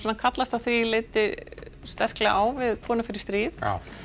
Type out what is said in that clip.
kallast að því leyti á við kona fer í stríð